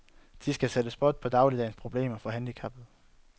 De skal sætte spot på dagligdagens problemer for handicappede.